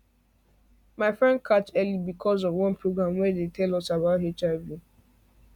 my friend catch early because of one program wey tell us about hiv